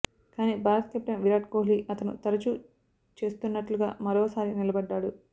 కానీ భారత కెప్టెన్ విరాట్ కోహ్లీ అతను తరచూ చేస్తున్నట్లుగా మరో సారి నిలబడ్డాడు